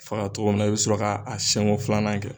cɔgɔ min na i bɛ sɔrɔ k'a siɲɛ ko filanan kɛ